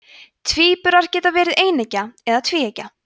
tvíburar geta verið eineggja eða tvíeggja